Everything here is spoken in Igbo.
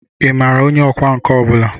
Ị maara onye ọkwá nkà ọ bụla?